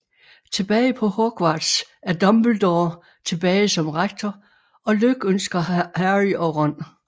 Tilbage på Hogwarts er Dumbledore tilbage som Rektor og lykønsker Harry og Ron